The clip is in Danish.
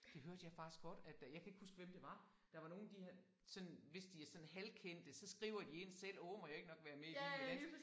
Det hørte jeg faktisk godt at øh jeg kan ikke huske hvem det var der var nogen de sådan hvis de er sådan halvkendte så skriver de ind selv åh må jeg ikke nok være med i Vild med Dans